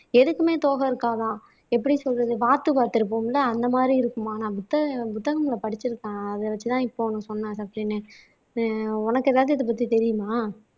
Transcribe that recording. எதுக்குமே தோகை இருக்காதாம் எப்படி சொல்றது வாத்து பார்த்திருப்போம்ல அந்த மாதிரி இருக்கும் ஆனா புத்த புத்தகங்களை படிச்சிருக்கான் அதை வச்சுதான் இப்ப ஒண்ணு சொன்னான் சஃப்ரின்னே ஆஹ் உனக்கு எதாவது இதை பத்தி தெரியுமா